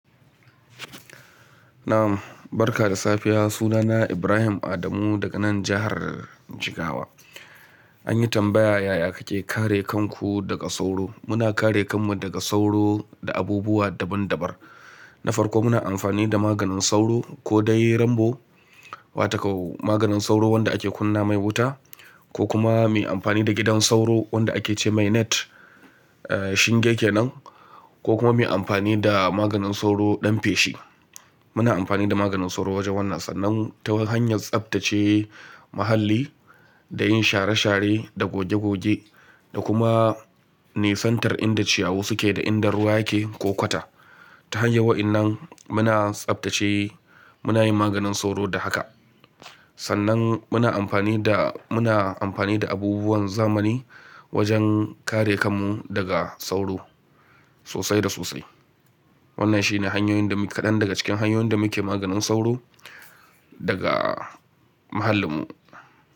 Nam, barka da safiya. Sunana Ibrahim Adamu daga nan jihar Jigawa. An yi tambaya, "Yaya kake kare kanku daga sauro?" Muna kare kanmu daga sauro da abubuwa daban-dabar. Na farko muna amfani da maganin sauro ko dai rambo, wato kau maganin sauro wanda ake kunna mai wuta ko kuma mu yi amfani da gidan sauro wanda ake ce mai net, eh shin yake nan, ko kuma mu yi amfani da maganin sauro ɗan feshi. Muna amfani da maganin sauro wajen wannan sannan ta hanyar tsaftace mahalli da yin share-share da goge-goge da kuma nisantar inda ciyawa suke da inda ruwa yake ko kwata. Ta hanyar waɗannan muna tsaftace, muna yin maganin sauro da haka. Sannan muna amfani da, muna amfani da abubuwan zamani wajen kare kanmu daga sauro sosai da sosai. Wannan shine hanyoyin da muke, ɗaya daga cikin hanyoyin da muke maganin sauro daga muhallinmu.